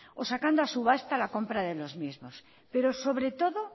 o sacando a subasta la compra de lo mismo pero sobre todo